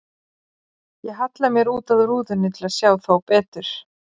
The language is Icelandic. Ég halla mér út að rúðunni til að sjá þá betur.